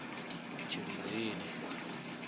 tshilidzini